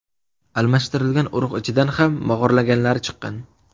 Almashtirilgan urug‘ ichidan ham mog‘orlaganlari chiqqan.